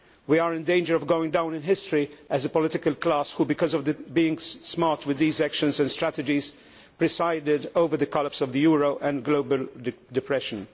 We are in danger of going down in history as a political class who, because of being smart with these actions and strategies, presided over the collapse of the euro and global depression.